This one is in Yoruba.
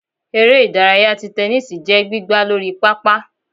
ère idàráyá tí tẹnisi jẹ gbìgbá Lorí pápá